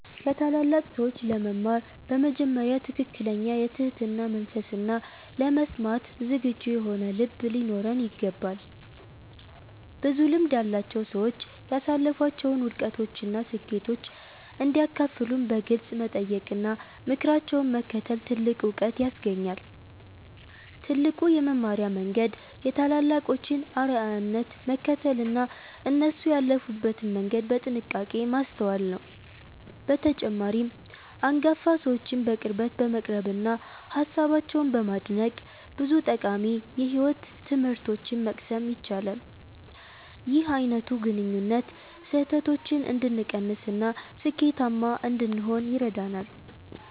ከታላላቅ ሰዎች ለመማር በመጀመሪያ ትክክለኛ የትህትና መንፈስና ለመስማት ዝግጁ የሆነ ልብ ሊኖረን ይገባል። ብዙ ልምድ ያላቸው ሰዎች ያሳለፏቸውን ውድቀቶችና ስኬቶች እንዲያካፍሉን በግልጽ መጠየቅና ምክራቸውን መከተል ትልቅ ዕውቀት ያስገኛል። ትልቁ የመማሪያ መንገድ የታላላቆችን አርአያነት መከተልና እነሱ ያለፉበትን መንገድ በጥንቃቄ ማስተዋል ነው። በተጨማሪም፣ አንጋፋ ሰዎችን በቅርበት በመቅረብና ሃሳባቸውን በማድነቅ ብዙ ጠቃሚ የሕይወት ትምህርቶችን መቅሰም ይቻላል። ይህ አይነቱ ግንኙነት ስህተቶችን እንድንቀንስና ስኬታማ እንድንሆን ይረዳናል።